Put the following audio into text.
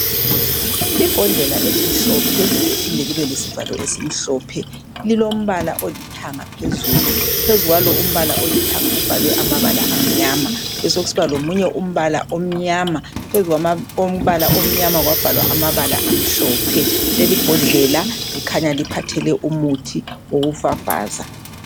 Ibhodlela elimhlophe liphinde libe lesivalo esimhlophe lilombala olithanga phezulu, phezu kwalo umbala olithanga kubhalwe amabala amnyama, besekusiba lomunye umbala omnyama, phezu kwama kombala omnyama kwabhalwa amabala amhlophe. Lelibhodlela likhanya liphathele umuthi wokufafaza.